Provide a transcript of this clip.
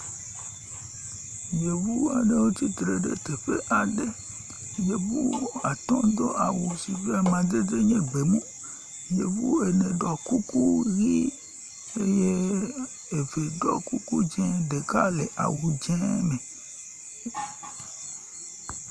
Yevu aɖewo tsitre ɖe teƒe aɖe. Yevu atɔ do awu si ƒe amadede nye gbemu. Yevu ene ɖɔ kuku ʋi eye eve ɖɔ kuku di ɖeka le awu dze me.